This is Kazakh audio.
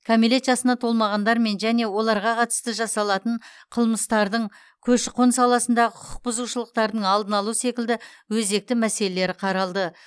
кәмелет жасына толмағандармен және оларға қатысты жасалатын қылмыстардың көші қон саласындағы құқық бұзушылықтардың алдын алу секілді өзекті мәселелері қаралды